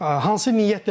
Hansı niyyətlə çıxırıq?